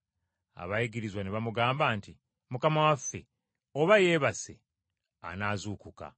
Abayigirizwa ne bamugamba nti, “Mukama waffe oba yeebase anaazuukuka.”